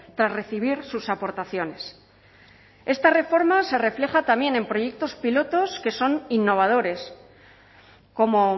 tras recibir sus aportaciones esta reforma se refleja también en proyectos pilotos innovadores como